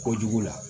Kojugu la